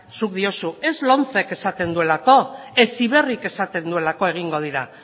zuk diozu ez lomcek esaten duelako heziberrik esaten duelako egingo dira